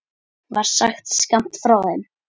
var sagt skammt frá þeim.